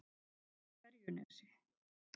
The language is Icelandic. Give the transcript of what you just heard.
Ferjunesi